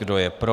Kdo je pro?